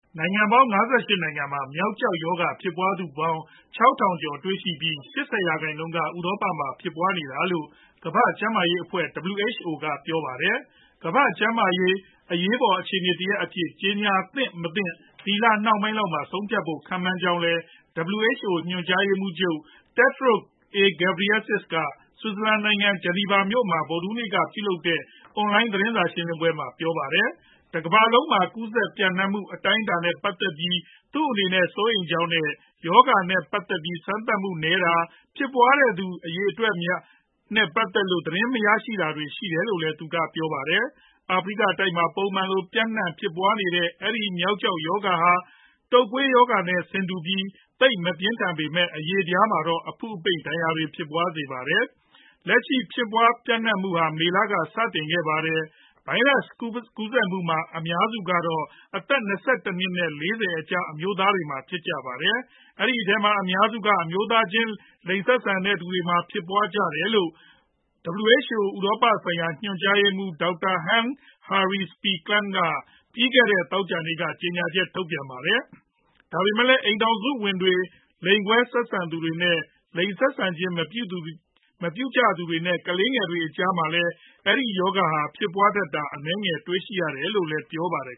နိုင်ငံပေါင်း ၅၈ နိုင်ငံမှာ မျောက်ကျောက်ရောဂါ ဖြစ်ပွားသူပေါင်း ၆ ထောင်ကျော်တွေ့ရှိပြီး ၈ဝ ရာခိုင်နှုန်းကျော်က ဥရောပမှာဖြစ်ပွားနေတာလို့ ကမ္ဘာ့ကျန်းမာရေးအဖွဲ့ WHO က ပြောပါတယ်။ ကမ္ဘာ့ ကျန်းမာရေး အရေးပေါ် အခြေအနေတရပ်အဖြစ် ကြေညာသင့်မသင့် ဒီလနှောင်းပိုင်းလောက်မှာ ဆုံးဖြတ်ဖို့ ခန့်မှန်းကြောင်းလည်း WHO ညွှန်ကြားရေးမှူးချုပ် Tedros Adhanom Ghebreyesus က ဆွစ်ဇာလန်နိုင်ငံ ၊ ဂျနီဗာမြို့မှာ ဗုဒ်ဓဟူးနေ့က ပြုလုပ်တဲ့ အွန်လိုင်း သတင်းစာရှင်းလင်းပွဲမှာ ပြောခဲ့ပါတယ်။ တကမ္ဘာလုံးမှာ ကူးစက်ပျံ့နှံမှု အတိုင်းအတာနဲ့ ပတ်သက်ပြီး သူအနေနဲ့ စိုးရိမ်ကြောင်းနဲ့ ရောဂါ နဲ့ပတ်သက်ပြီး စမ်းသပ်မှုနည်းပါးတာ၊ ဖြစ်ပွားနေတဲ့သူအများအပြားနဲ့ပတ်သက်လို့ သတင်းမရရှိကြတာတွေ ရှိတယ်လို့လည်း သူကပြောပါတယ်။ အာဖရိက တိုက်မှာ ပုံမှန်လို ပျံနှံဖြစ်ပွားနေတဲ့ အဲဒီ မျောက်ကျောက်ရောဂါဟာ တုပ်ကွေးရောဂါနဲ့ ဆင်တူပြီး သိပ်မပြင်းထန်ပေမယ့် အရေပြားမှာတော့ အဖု့အပိန့် ဒဏ်ရာတွေဖြစ်ပွားစေပါတယ်။ လက်ရှိဖြစ်ပွားပျံနှံမှုဟာ မေလက စတင်ခဲ့ပါတယ်။ ဗိုင်ရပ်ကူးစက်မှုမှာ အများစုကတော့ အသက် ၂၁ နှစ် နဲ့ ၄ဝ အကြား အမျိုးသားများဖြစ်ကြပါတယ်။ အဲဒီအထဲမှာ အများစုက အမျိုးသားချင် လိင်ဆက်ဆံကြသူတွေဖြစ်ကြတယ်လို့ WHO ဥရောပဆိုင်ရာ ညွှန်ကြားရေးမှူး Dr Hans Henri P Kluge က ပြီးခဲ့တဲ့ သောကြာနေ့က ကြေညာချက်ထုတ်ပြန်ပါတယ်။ ဒါပေမယ့်လည်း အိမ်ထောင်စုဝင်တွေ၊ လိင်ကွဲဆက်ဆံသူတွေ နဲ့ လိင်ဆက်ဆံခြင်း မပြုကြသူတွေ နဲ့ ကလေးငယ်တွေအကြားမှာလည်း အဲဒီရောဂါဟာ ဖြစ်ပွားတာတွေ အနည်းငယ်တွေ့ရတယ်လို့လည်း ပြောပါတယ်